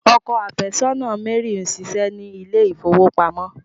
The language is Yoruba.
Ọkọ afesona Mary n ṣiṣé ni ilé ifowopamọ.